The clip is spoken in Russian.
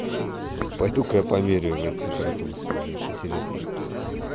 пойду-ка я померяю температуру свою мне аж интересно